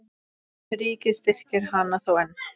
Ríkið styrkir hana þó enn.